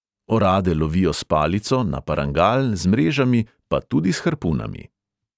Orade lovijo s palico, na parangal, z mrežami, pa tudi s harpunami.